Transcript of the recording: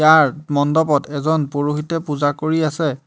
তাৰ মণ্ডপত এজন পুৰোহিতে পূজা কৰি আছে।